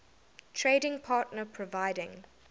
trading partner providing